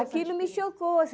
Aquilo me chocou.